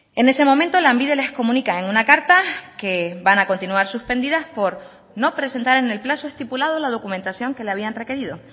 en ese momento lanbide les comunica en una carta que van a continuar suspendidas por no presentar en el plazo estipulado la documentación que le habían requerido